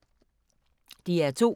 DR2